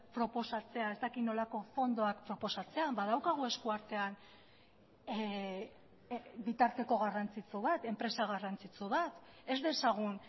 proposatzea ez dakit nolako fondoak proposatzea badaukagu eskuartean bitarteko garrantzitsu bat enpresa garrantzitsu bat ez dezagun